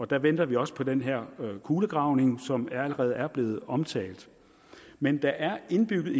der venter vi også på den her kulegravning som allerede er blevet omtalt men der er indbygget